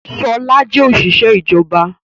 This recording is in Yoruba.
Ṣọl jẹ́ òṣìṣẹ́ ìjọba.